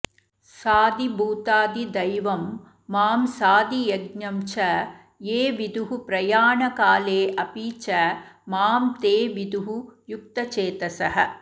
साधिभूताधिदैवं मां साधियज्ञं च ये विदुः प्रयाणकाले अपि च मां ते विदुः युक्तचेतसः